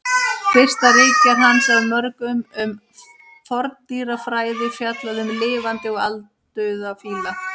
Fyrsta ritgerð hans af mörgum um forndýrafræði fjallaði um lifandi og aldauða fíla.